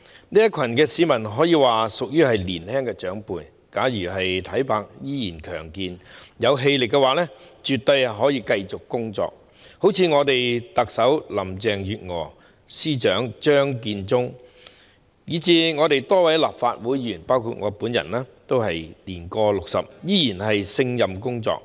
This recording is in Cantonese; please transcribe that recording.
這群市民可以說是年青長輩，假如體魄依然強健，有氣力的話，絕對可以繼續工作，好像我們特首林鄭月娥、司長張建宗，以至多位立法會議員，包括我本人，也是年過 60， 依然勝任工作。